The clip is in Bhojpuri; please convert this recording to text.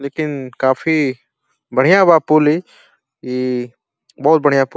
लेकिन काफी बढ़िया बा पूल इ। इ बहोत बढ़िया पूल --